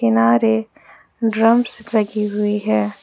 किनारे ड्रम्स लगी हुई हैं।